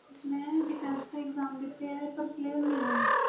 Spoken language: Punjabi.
ਮੈਂ ਬਹੁਤ exam ਦਿਤੇ ਵ ਪਰ clear ਨਹੀਂ ਹੋਏ